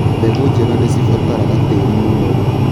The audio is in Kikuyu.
Mbegũ njega nĩ cibataraga tĩri mũnoru.